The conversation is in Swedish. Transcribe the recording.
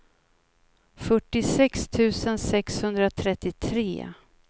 fyrtiosex tusen sexhundratrettiotre